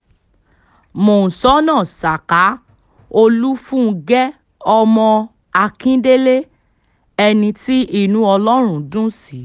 mọ́ńsóná saka olùfúngẹ́ ọmọ akíndélé ẹni tí inú ọlọ́run dùn sí